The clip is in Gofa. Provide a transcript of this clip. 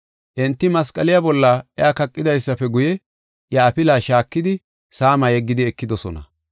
Enti masqaliya bolla iya kaqidaysafe guye, iya afilaa shaakidi, saama yeggidi ekidosona.